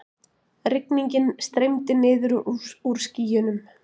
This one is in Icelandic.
Rigningin streymdi niður úr skýjunum.